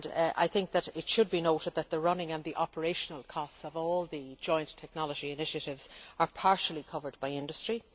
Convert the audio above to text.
I think that it should be noted that the running and the operational costs of all the joint technology initiatives are partially covered by industry.